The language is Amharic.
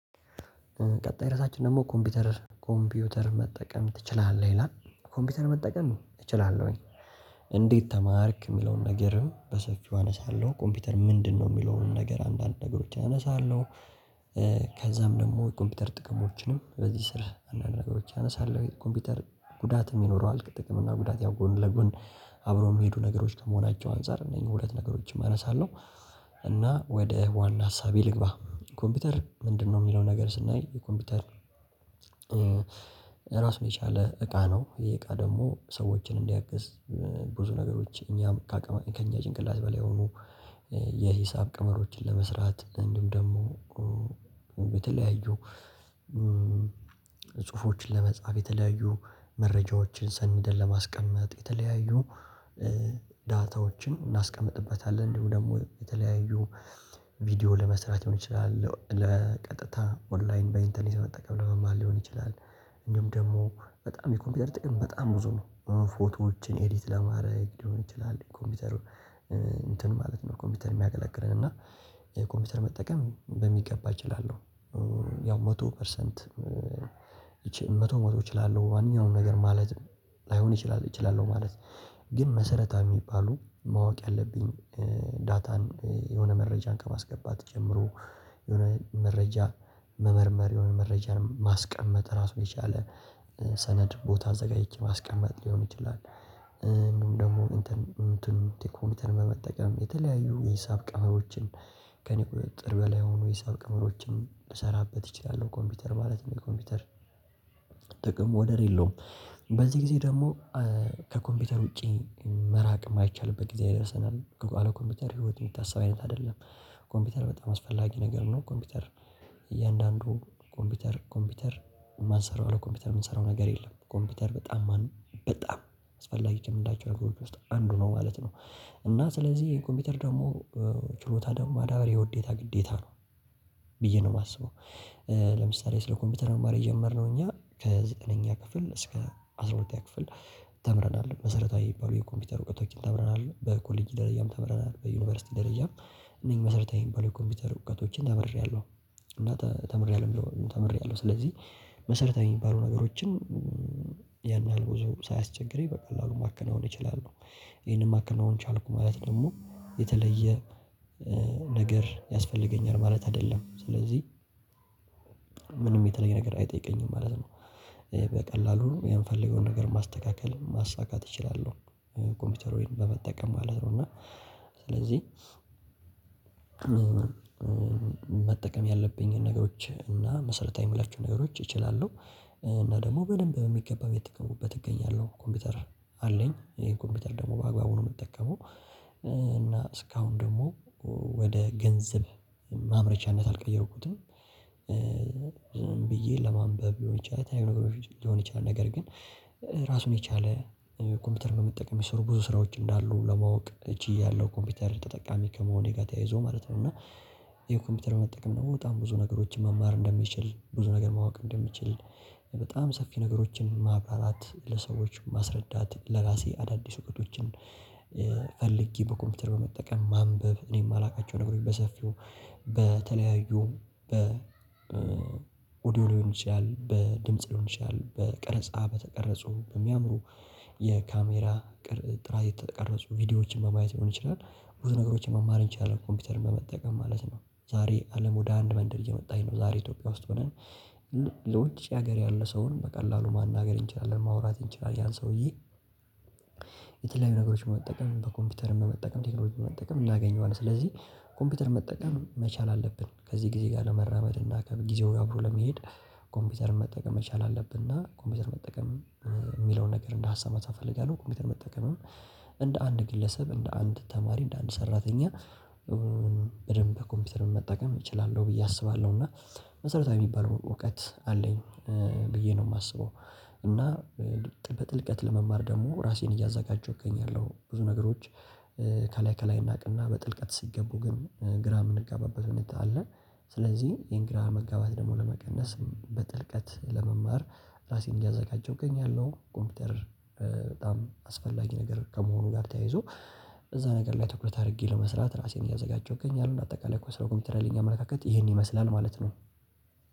ቀጣይ ርዕሳችን ደግሞ ኮምፒውተር ኮምፒውተር መጠቀም ትችላለህ ይላል ኮምፒውተር መጠቀም እችላለሁኝ እንዴት ተማርክ የምለውን ነገርም በሰፊው አነሳለሁ ኮምፒውተር ምንድነው የሚለውን ነገር አንዳንድ ነገሮችን አነሳለሁ፤ ከዛም ደግሞ የኮምፒውተር ጥቅሞችንም በዚህ ስር አንዳንድ ነገሮችን አነሳለሁ፤ ኮምፒውተር ጉዳትም ይኖረዋል ጥቅም እና ጉዳት ያው ጎን ለጎን አብሮ የሚሄዱ ነገሮች ከመሆናቸው አንፃር እነኚህን ሁለት ነገሮችን አነሳለሁ፤ እና ወደ ዋና ሀሳቤ ልግባ ኮምፒውተር ምንድነው የሚለው ነገር ስናይ የኮምፒውተር ራሱን የቻለ እቃ ነው ይሄ እቃ ደግሞ ሰዎችን እንዲያግዝ ብዙ ነገሮች እኛም ከእኛ ጭንቅላት በላይ ሆኖ የሂሳብ ቅመሮችን ለመስራት እንደም ደግሞ የተለያዩ ጽሁፎችን ለመጻፍ፣ የተለያዩ መረጃዎችን ሰንደል ለማስቀመጥ፣ የተለያዩ ዳታዎችን እናስቀምጥበታለን እንዲሁ ደግሞ የተለያዩ ቪዲዮ ለመስራት ሊሆን ይችላል ለቀጥታ ኦንላይን በኢንተርኔት መጠቀም ለመማር ሊሆን ይችላል እእንዲሁም ደግሞ በጣም የኮምፒውተር ጥቅም በጣም ብዙ ነው፤ ፎቶዎችን ኤዲት ለማድረግ ሊሆን ይችላል ኮምፒውተሩን እንትን ማለት ነው ኮምፒውተር የሚያገለግለን እና የኮምፒውተር መጠቀም በሚገባ እችላለሁ ያው መቶ ፐርሰንት መቶ መቶ እችላለሁ ማንኛውም ነገር ማለት ላይሆን እችላለሁ ማለት ግን መሰረታችን የሚባሉ ማወቅ ያለብኝ ዳታን የሆነ መረጃን ከማስገባት ጀምሮ የሆነ መረጃ መመርመር የሆነ መረጃን ማስቀመጥ ራሱ የቻለ ሰነድ ቦታ አዘጋጅቼ ማስቀመጥ ሊሆን ይችላ፤ እንደውም ደግሞ እንትን እንትን ቲኮምፒተርን በመጠቀም የተለያዩ የሂሳብ ቀመሮችን ከእኔ ቁጥጥር በላይ የሆኑ የሂሳብ ቅመሮችም እሰራበት እችላለሁ ኮምፒውተር ማለት ነው የኮምፒውተር ጥቅም ወደር የለውም በዚህ ጊዜ ደግሞ ከኮምፒውተር ውጪ መራቅ የማይቻልበት ጊዜ ደርሰናል አለ ኮምፒውተር ህይወት የሚታሰብ አይነት አይደለም፤ ኮምፒውተር በጣም አስፈላጊ ነገር ነው ኮምፒውተር እያንዳንዱ ኮምፒውተር ኮምፒውተር የማንሰራው ኮምፒውተር የምንሰራው ነገር የለም፤ ኮምፒውተር በጣም በጣም አስፈላጊ ከምላቸው ነገሮች ውስጥ አንዱ ነው ማለት ነው። እና ስለዚህ ኮምፒውተር ደግሞ ችሎታ ደግሞ ማዳበር የውዴታ ግዴታ ነው ብዬ ነው የማስበው ለምሳሌ ስለ ኮምፒውተር መማር የጀመርነው እኛ ከዘጠነኛ ክፍል እስከ አስራ ሁለተኛ ክፍል ተምረናል መሰረታዊ የሚባሉ የኮምፒውተር እውቀቶች ተምረናል በኮሌጅ ደረጃም ተምረናል በዩኒቨርሲቲ ደረጃም እነኚህ መሰረታዊ የሚባሉ የኮምፒውተር እውቀቶችን ተመሬያለሁ እና ተመሬያለሁ ተመሬያለሁ ስለዚህ መሰረታዊ የሚባሉ ነገሮችን ያን ያህል ብዙ ሳያስቸግረኝ በቀላሉ ማከናወን እችላለሁ፤ ይሄንን ማከናወን ቻልኩ ማለት ደግሞ የተለየ ነገር ያስፈልገኛል ማለት አይደለም ስለዚህ ምንም የተለየ ነገር አይጠይቀኝም ማለት ነው በቀላሉ የምፈልገውን ነገር ማስተካከል ማሳካት እችላለሁ ኮምፒውተር ወይን በመጠቀም ማለት ነው እና ስለዚህ መጠቀም ያለብኝን ነገሮች እና መሰለታዊ የሚላችሁ ነገሮች እችላለሁ እና ደግሞ በደንብ በሚገባበት እየተጠቀምሁት እገኛለሁ ኮምፒውተር አለኝ ይሄን ኮምፒውተር ደግሞ በአግባቡ ነው የምጠቀመው እና እስካሁን ደግሞ ወደ ገንዘብ ማምረቻነት አልቀየርኩትም ብዬ ለማንበብ የሆነች ነገር ሊሆን ይችላል ነገር ግን ራሱን የቻለ ኮምፒውተር በመጠቀም የሚሰሩ ብዙ ስራዎች እንዳሉ ለማወቅ ችያለሁ ኮምፒውተር ተጠቃሚ ከመሆኔ ጋር ተያይዞ ማለት ነው እና ይሄው ኮምፒውተር መጠቀም ነው በጣም ብዙ ነገሮችን መማር እንደምችል ብዙ ነገር ማወቅ እንደምችል በጣም ሰፊ ነገሮችን ማብራራት ለሰዎች ማስረዳት ለራሴ አዳዲስ እውቀቶችን ፈልጌ በኮምፒውተር በመጠቀም ማንበብ እኔም የማላውቃቸው ነገሮች በሰፊው በተለያዩ በኦዲዮ ሊሆን ይችላል በድምጽ ሊሆን ይችላል በቀረጻ በተቀረጹ በሚያምሩ የካሜራ ጥራት የተቀረጹ ቪዲዮዎችን በማየት ሊሆን ይችላል ብዙ ነገሮችን መማር እንችላለን ኮምፒውተርን በመጠቀም ማለት ነው ዛሬ አለም ወደ አንድ መንደር እየመጣኝ ነው ዛሬ ኢትዮጵያ ውስጥ ሆነን ለውጭ ሀገር ያለ ሰውን በቀላሉ ማናገር እንችላለን ማውራት እንችላለን ያን ሰውዬ የተለያዩ ነገሮችን መጠቀም በኮምፒውተርም በመጠቀም ቴክኖሎጂን በመጠቀም እናገኘዋለን ስለዚህ ኮምፒውተር መጠቀም መቻል አለብን ከዚህ ጊዜ ጋር ለመራመድ እና ጊዜው ያብሮ ለመሄድ ኮምፒውተር መጠቀም መቻል አለብን እና ኮምፒውተር መጠቀም የሚለውን ነገር እንደ ሀሳብ መጻፍ አልፈልግም ኮምፒውተር መጠቀምም እንደ አንድ ግለሰብ እንደ አንድ ተማሪ እንደ አንድ ሰራተኛ በደንብ ከኮምፒውተር መጠቀም እችላለሁ ብዬ አስባለሁ እና መሰረታዊ የሚባለው እውቀት አለኝ ብዬ ነው የማስበው እና በጥልቀት ለመማር ደግሞ ራሴን እያዘጋጀሁ እገኛለሁ ብዙ ነገሮች ከላይ ከላይ እናቅና በጥልቀት ስትገቡ ግን ግራ የምንጋባበት እንዴት አለ፤ ስለዚህ የንግራ መጋባት ደግሞ ለመቀነስ በጥልቀት ለመማር ራሴን እያዘጋጀሁኝ ያለው ኮምፒውተር በጣም አስፈላጊ ነገር ከመሆኑ ጋር ተያይዞ እዛ ነገር ላይ ትኩረት አድርጌ ለመስራት ራሴን እያዘጋጀሁኝ እገኛለሁ፤ አጠቃላይ ስለ ኮምፒውተር ያለኝ አመለካከት ይሄን ይመስላል ማለት ነው።